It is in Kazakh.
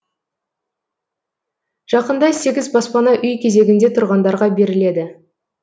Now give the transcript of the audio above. жақында сегіз баспана үй кезегінде тұрғандарға беріледі